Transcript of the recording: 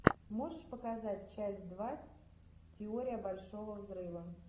можешь показать часть два теория большого взрыва